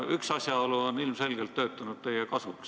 Üks asjaolu on ilmselgelt töötanud teie kasuks.